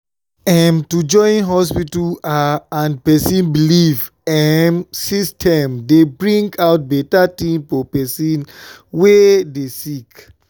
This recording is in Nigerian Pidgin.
em- to join hospita ah and pesin belief emmm system dey bring out beta tin for pesin wey dey sick.